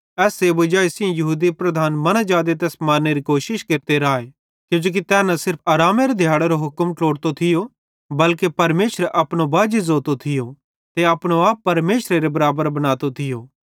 एस वजाई सेइं यहूदी लीडर मनां जादे तैस मारनेरी कोशिश केरने लाए किजोकि तै न सिर्फ आरामेरे दिहाड़ेरो हुक्म न थियो ट्लोतो बल्के परमेशरे अपनो बाजी ज़ोतो थियो ते अपनो आप परमेशरेरे बराबर बनातो थियो